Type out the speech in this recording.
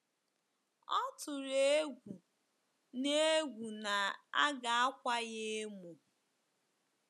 Ọ tụrụ egwu na egwu na a ga-akwa ya emo.